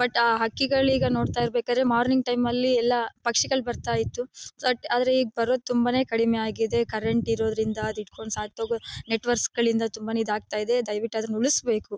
But ಹಕ್ಕಿಗಳಿಗೆ ನೋಡ್ತಾ ಇರ್ ಬೇಕಾದ್ರೆ ಮಾರ್ನಿಂಗ್ ಟೈಮ್ ಅಲ್ಲಿ ಎಲ್ಲ ಪಕ್ಷಿಗಳು ಬರ್ತಾ ಇತ್ತು ಆದ್ರೆ ಈಗ ಬರೋದು ತುಂಬ ಕಡಿಮೆ ಆಗಿದೆ ಕರೆಂಟ್ ಇರೋದ್ರಿಂದ ಅದ್ ಹಿಡ್ಕೊಂಡು ಸತ್ ಹೋಗೋ ನೆಟ್ವರ್ಕ್ ಗಳಿಂದ ತುಂಬ ಇದಾಗ್ತಾ ಇದೆ ದಯವಿಟ್ಟು ಅದನ್ನ ಉಳಿಸ್ಬೇಕು.